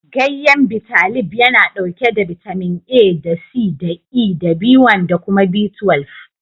Gayyen Bitalib yana ɗauke da bitamin A da C da E da B1 da kuma B12.